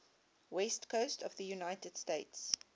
west coast of the united states